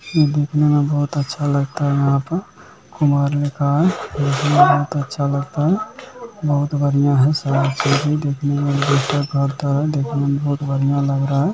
ये देखने में बहुत अच्छा लगता है यहाँ पर कुमार लिखा है। देखने में बहुत अच्छा लगता है। बहुत बढ़िया है देखने में बहुत बढ़िया लग रहा है।